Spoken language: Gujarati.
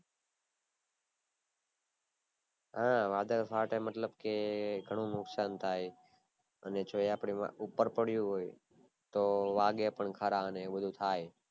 હા વાદળ ફાટે મતલબ કે ઘણું બહુ નક્શાન થાય અને જો એ આપડી ઉપર પડ્યું હોય તો વાગે પણ ખરા એ પણ થાય